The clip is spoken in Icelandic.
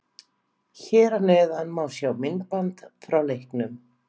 Hér að neðan má sjá myndband frá leiknum: